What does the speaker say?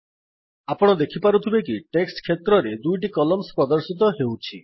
ଆପଣ ଦେଖିପାରୁଥିବେ କି ଟେକ୍ସଟ୍ କ୍ଷେତ୍ରରେ ଦୁଇଟି କଲମ୍ସ୍ ପ୍ରଦର୍ଶିତ ହେଉଛି